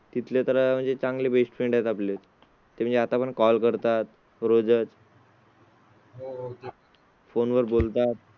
तिथले तर म्हणजे चांगली best friend आहेत आपल्या म्हणजे आता पण call करतात रोज. आहेत. फोनवर बोलतो.